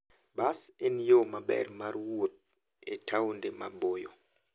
Bas en yo maber mar wuoth e taonde maboyo.